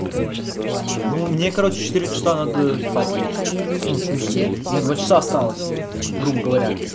в плане ну мне короче в четыре часа надо спать лечь ну в смысле мне два часа осталось грубо говоря